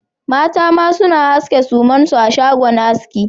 Mata ma suna aske sumansu a shagon aski